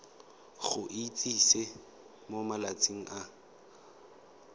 go itsise mo malatsing a